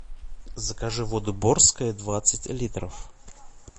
закажи воду борская двадцать литров